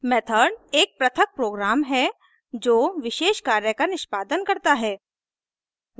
method एक पृथक program है जो विशेष कार्य का निष्पादन करता है